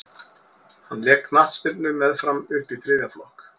hann lék knattspyrnu með fram upp í þriðja flokk